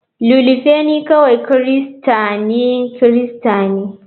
Ililufenyi kawai Kirista ne Kirista ne.